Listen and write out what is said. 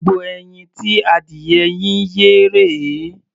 Gbogbo ẹyin tí adìyẹ yín yé rèé.